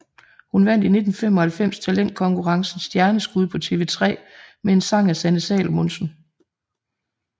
Hun vandt i 1995 talentkonkurrencen Stjerneskud på TV3 med en sang af Sanne Salomonsen